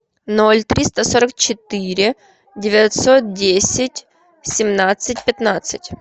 ноль триста сорок четыре девятьсот десять семнадцать пятнадцать